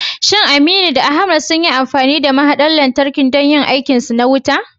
Shin Aminu da Ahmad sunyi amfani da mahaɗar lantarkin don yin aikinsu na wuta?